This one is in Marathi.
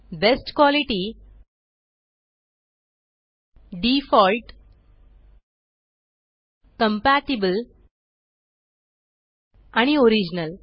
बेस्ट क्वालिटी डिफॉल्ट कंपॅटिबल आणि ओरिजिनल